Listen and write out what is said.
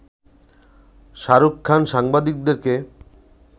শাহরুখ খান সাংবাদিকদেরকে